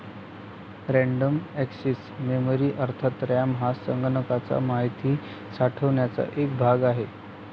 Random access memory अर्थात RAM हा संगणकाचा महिती साठवण्याचा एक भाग आहे.